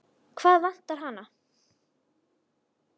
Hvað vantar hana?